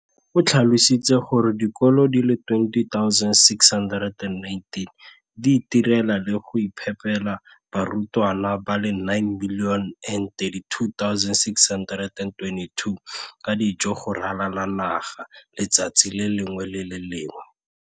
o tlhalositse gore dikolo di le 20 619 di itirela le go iphepela barutwana ba le 9 032 622 ka dijo go ralala naga letsatsi le lengwe le le lengwe.